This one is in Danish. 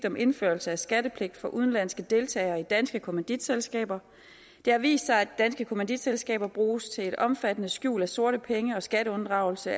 om indførelse af skattepligt for udenlandske deltagere i danske kommanditselskaber det har vist sig at danske kommanditselskaber bruges til et omfattende skjul af sorte penge og skatteunddragelse